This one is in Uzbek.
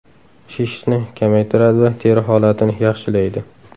Shishni kamaytiradi va teri holatini yaxshilaydi.